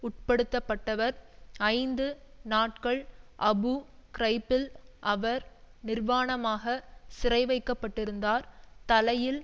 உட்படுத்தப்பட்டவர் ஐந்து நாட்கள் அபு கிரைப்பில் அவர் நிர்வாணமாக சிறைவைக்கப்பட்டிருந்தார் தலையில்